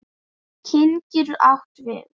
Kyn getur átt við um